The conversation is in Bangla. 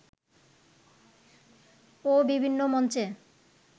ও বিভিন্ন মঞ্চে